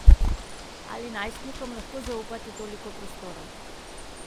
Ali najstnikom lahko zaupate toliko prostora?